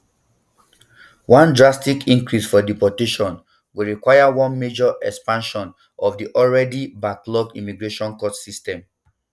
one drastic increase um for deportations go require one major expansion of di already um backlogged immigration court system